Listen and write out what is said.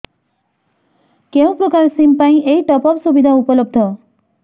କେଉଁ ପ୍ରକାର ସିମ୍ ପାଇଁ ଏଇ ଟପ୍ଅପ୍ ସୁବିଧା ଉପଲବ୍ଧ